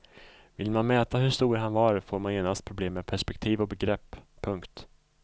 Vill man mäta hur stor han var får man genast problem med perspektiv och begrepp. punkt